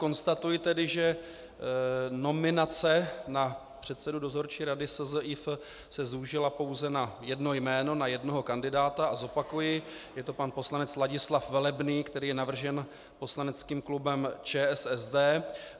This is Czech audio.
Konstatuji tedy, že nominace na předsedu Dozorčí rady SZIF se zúžila pouze na jedno jméno, na jednoho kandidáta, a zopakuji, je to pan poslanec Ladislav Velebný, který je navržen poslaneckým klubem ČSSD.